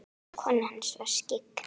Konan hans var skyggn.